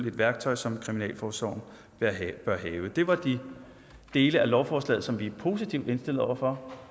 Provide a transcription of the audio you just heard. et værktøj som kriminalforsorgen bør have det var de dele af lovforslaget som vi er positivt indstillet over for